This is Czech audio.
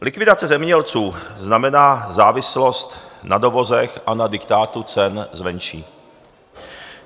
Likvidace zemědělců znamená závislost na dovozech a na diktátu cen zvenčí.